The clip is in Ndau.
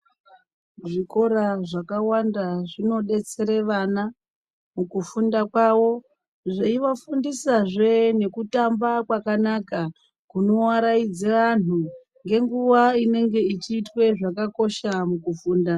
Zvikora zvakawanda zvinodetsere vana mukufunda kwavo. Zveivafundisazve nekutamba kwakanaka kunoaraidze anhu ngenguva inenge ichiitwe zvakakosha mukufunda.